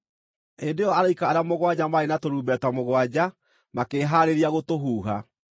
Hĩndĩ ĩyo araika arĩa mũgwanja maarĩ na tũrumbeta mũgwanja makĩĩhaarĩria gũtũhuha.